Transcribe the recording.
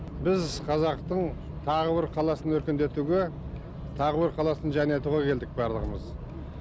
біз қазақтың тағы бір қаласын өркендетуге тағы бір қаласын жайнатуға келдік барлығымыз